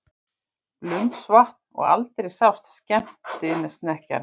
Blundsvatn og aldrei sást skemmtisnekkjan.